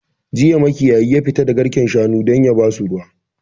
Jiya makiyayi ya fita da garken shanu don yabasu ruwa